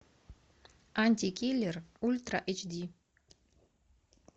антикиллер ультра эйч ди